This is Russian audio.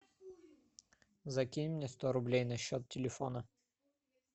закинь мне сто рублей на счет телефона